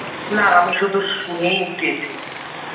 না আমি শুধু শুনেই গেছি।